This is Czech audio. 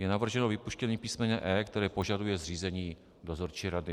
Je navrženo vypuštění písm. e), které požaduje zřízení dozorčí rady.